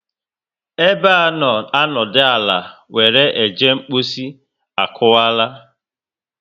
Ebe a nọ adona ala were eje mposi akuwara